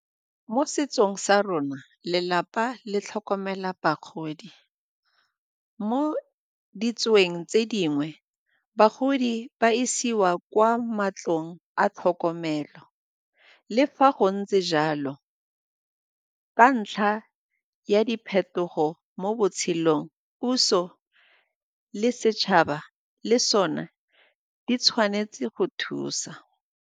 Mo setsong sa rona, lelapa le tlhokomela bagodi, mo tse dingwe bagodi ba isiwa kwa matlong a tlhokomelo. Le fa go ntse jalo, ka ntlha ya diphetogo mo botshelong puso le setšhaba le sone di tshwanetse go thusa.